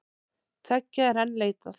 Tveggja er enn leitað.